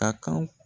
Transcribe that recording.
A kan